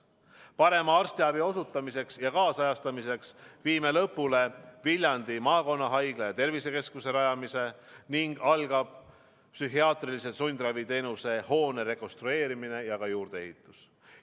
Parema arstiabi osutamiseks ja kaasajastamiseks viime lõpule Viljandi maakonnahaigla ja tervisekeskuse rajamise ning algab psühhiaatrilise sundraviteenuse hoone rekonstrueerimine ja ka juurdeehitus.